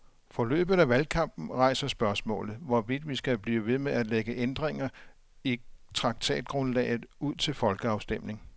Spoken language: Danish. Forløbet af valgkampen rejser spørgsmålet, hvorvidt vi skal blive ved med at lægge ændringer i traktatgrundlaget ud til folkeafstemning.